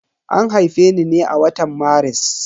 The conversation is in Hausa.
An haife ni ne a watan Maris.